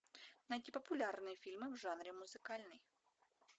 найти популярные фильмы в жанре музыкальный